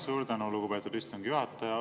Suur tänu, lugupeetud istungi juhataja!